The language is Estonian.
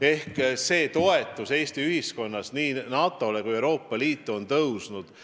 Ehk toetus nii NATO-le kui ka Euroopa Liidule on Eesti ühiskonnas tõusnud.